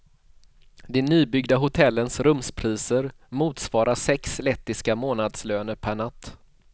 De nybyggda hotellens rumspriser motsvarar sex lettiska månadslöner, per natt.